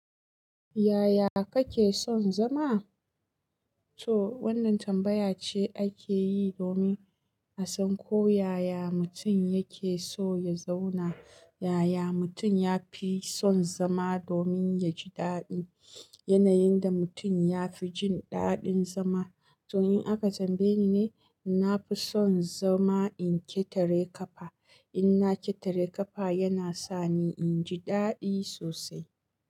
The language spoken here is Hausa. Yaya kake son zama? To wannan tambaya ce ake yi domin a san ko yaya mutum yake so ya zauna. Yaya mutum yafi son zama domin ya shiga yanayin da mutum ya fi jin daɗin zama. To in aka tambaye ni ne, na fi son zama in ƙetare ƙafa. In na ƙetare ƙafa, yana sa ni in ji daɗi sosai.